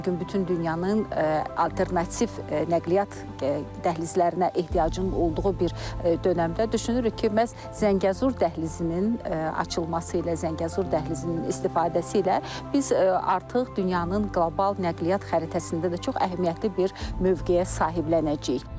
Bu gün bütün dünyanın alternativ nəqliyyat dəhlizlərinə ehtiyacın olduğu bir dönəmdə düşünürük ki, məhz Zəngəzur dəhlizinin açılması ilə, Zəngəzur dəhlizinin istifadəsi ilə biz artıq dünyanın qlobal nəqliyyat xəritəsində də çox əhəmiyyətli bir mövqeyə sahiblənəcəyik.